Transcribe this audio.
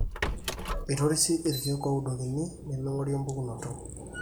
eitorisi iekeek ooudokini nemeing'ori empukunoto